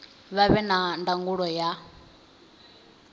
vha vhe na ndangulo ya